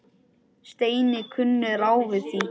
Steini kunni ráð við því.